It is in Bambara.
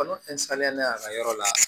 N'o y'a ka yɔrɔ la